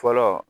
Fɔlɔ